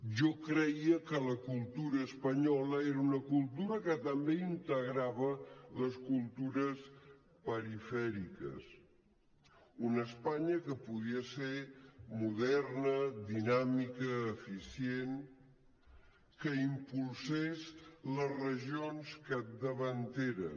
jo creia que la cultura espanyola era una cultura que també integrava les cultures perifèriques una espanya que podia ser moderna dinàmica eficient que impulsés les regions capdavanteres